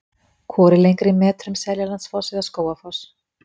Hvor er lengri í metrum, Seljalandsfoss eða Skógarfoss?